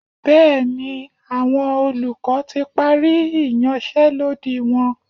Bẹ́ẹ̀ni, àwọn olùkọ́ ti parí ìyanṣẹ́lódì wọn.